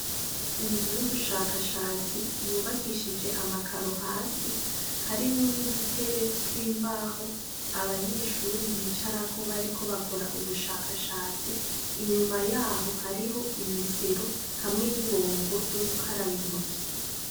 Inzu y'ubushakashatsi yubakishije amakaro hasi harimwo n'udutebe tw'imbaho abanyeshuri bicarako bariko bakora ubushakashatsi inyuma yaho hariho imesero hamwe n'ibombo ryo gukaraba intoki.